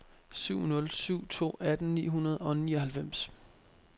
syv nul syv to atten ni hundrede og nioghalvfems